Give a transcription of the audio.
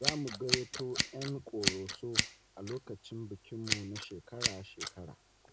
Za mu gayyato ‘yan ƙoroso a lokacin bikinmu na shekara-shekara.